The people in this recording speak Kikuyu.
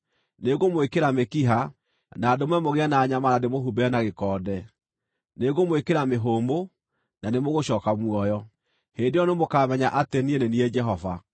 Nĩngũmwĩkĩra mĩkiha, na ndũme mũgĩe na nyama na ndĩmũhumbĩre na gĩkonde; nĩngũmwĩkĩra mĩhũmũ, na nĩmũgũcooka muoyo. Hĩndĩ ĩyo nĩmũkamenya atĩ niĩ nĩ niĩ Jehova.’ ”